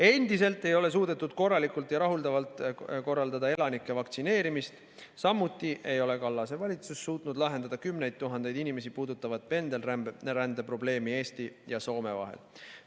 Endiselt ei ole suudetud korraldada rahuldavalt elanike vaktsineerimist, samuti ei ole Kallas suutnud lahendada kümneid tuhandeid inimesi puudutavat pendelrände probleemi Eesti ja Soome vahel.